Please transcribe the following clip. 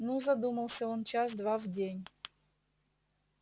ну задумался он час-два в день